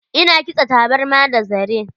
Ina kitsa tabarma da zare.